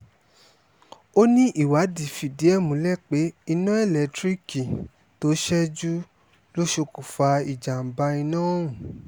ó ní ìwádìí fídíẹ̀ ẹ̀ múlẹ̀ pé iná elétíríìkì tó ṣẹ́jú ló ṣokùnfà ìjàm̀bá iná ọ̀hún